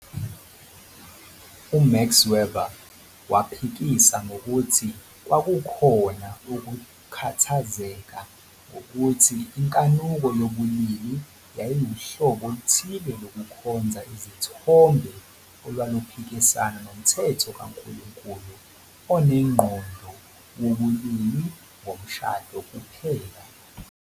UMax Weber waphikisa ngokuthi kwakukhona ukukhathazeka ngokuthi inkanuko yobulili yayiwuhlobo oluthile lokukhonza izithombe olwaluphikisana nomthetho kaNkulunkulu onengqondo wobulili ngomshado kuphela.